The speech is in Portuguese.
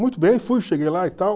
Muito bem, fui, cheguei lá e tal.